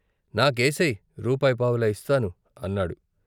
"నాకేసెయ్, రూపాయిపావలా ఇస్తాను " అన్నాడు.